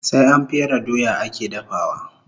Sai an fere doya ake dafawa